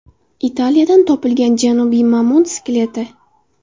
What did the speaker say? Italiyadan topilgan janubiy mamont skeleti.